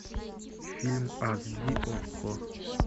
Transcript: фильм аш ди окко